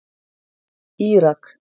Írak